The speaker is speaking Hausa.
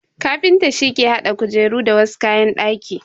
Kafinta shi ke hada kujeru da wasu kayan daki.